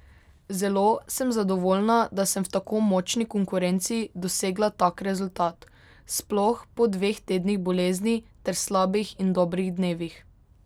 Zelo sem zadovoljna, da sem v tako močni konkurenci dosegla tak rezultat, sploh po dveh tednih bolezni ter slabih in dobrih dnevih.